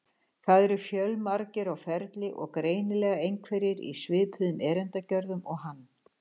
Það eru fjölmargir á ferli og greinilega einhverjir í svipuðum erindagjörðum og hann.